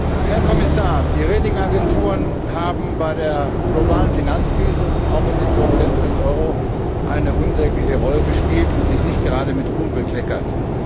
Herr Präsident, Herr Kommissar! Die Rating Agenturen haben bei der globalen Finanzkrise und auch bei den Turbulenzen des Euro eine unsägliche Rolle gespielt und sich nicht gerade mit Ruhm bekleckert.